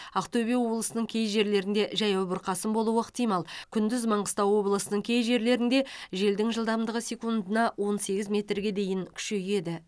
ақтөбе облысының кей жерлерінде жаяу бұрқасын болуы ықтимал күндіз маңғыстау облысының кей жерлерінде желдің жылдамдығы секундына он сегіз метрге дейін күшейеді